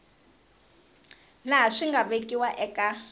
laha swi nga vekiwa eka